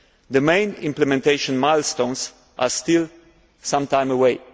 The main implementation milestones are still some time away.